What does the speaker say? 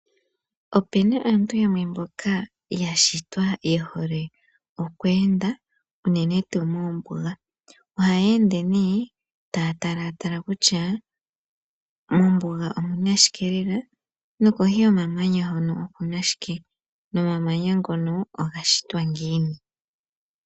Ope na aantu yamwe mboka ya shitwa ye hole oku enda unene tuu moombuga. Ohaya ende nee taya talatala kutya mombuga omu na shike lela nokohi yomamanya hono oku na shike. Omamanya oga shitwa ngiini.